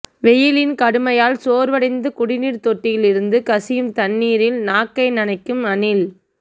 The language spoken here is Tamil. வெயிலின் கடுமையால் சோர்வடைந்து குடிநீர் தொட்டியில் இருந்து கசியும் தண்ணீரில் நாக்கை நனைக்கும் அணில்